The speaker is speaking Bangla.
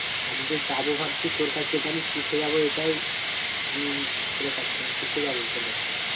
আমি যে যাবো ভাবছি তোর কাছে তাহলে কিসে যাবো এটাই আমি খুঁজে পাচ্ছিনা? কিসে যাবো তোর কাছকে?